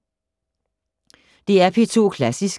DR P2 Klassisk